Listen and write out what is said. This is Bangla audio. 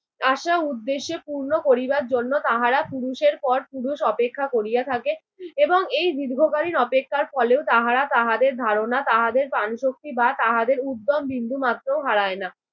আশা উদ্দেশ্যে পূর্ণ করিবার জন্য তাহারা পুরুষের পর পুরুষ অপেক্ষা করিয়া থাকে এবং এই দীর্ঘকালীন অপেক্ষার ফলেও তাহারা তাহাদের ধারণা তাহাদের প্রাণশক্তি বা তাহাদের উদ্যম বিন্দুমাত্রও হারায় না।